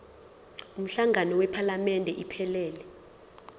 umhlangano wephalamende iphelele